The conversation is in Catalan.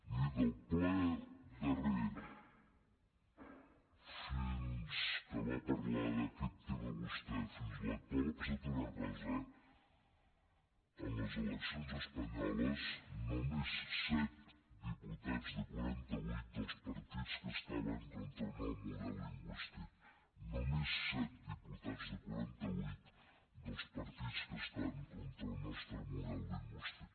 miri del ple darrer que va parlar d’aquest tema vostè fins a l’actual ha passat una cosa en les eleccions espanyoles només set diputats dels quaranta vuit dels partits que estaven contra el nostre model lingüístic només set diputats dels quaranta vuit dels partits que estan contra el nostre model lingüístic